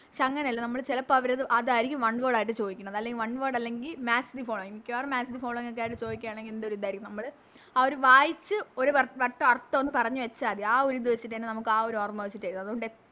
പക്ഷെ അങ്ങനെയല്ല നമ്മള് ചെലപ്പോ അവരിത് അതാരിക്കും One word ആയിട്ട് ചോദിക്കണത് അല്ലെങ്കി One word അല്ലെങ്കി Match the following മിക്കവാറും Match the following ഒക്കെ ആയിട്ട് ചോദിക്കുവാണെങ്കിൽ എന്തോര് ഇത് ആരിക്കും നമ്മള് ആ ഒരു വായിച്ച് ഒര് വട്ടം അർഥോന്ന് പറഞ്ഞ് വെച്ച മതി ആ ഒര് ഇത് വെച്ചിട്ടന്നെ നമുക്കാ ഒര് ഓർമ്മ വെച്ചിട്ട് എഴുതാം അതുകൊണ്ട്